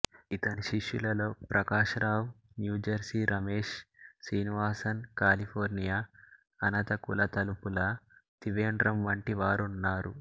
ఇతని శిష్యులలో Prakash Rao New Jersey Ramesh Srinivasan California అనత కులతుపుళ త్రివేండ్రం వంటి వారున్నారు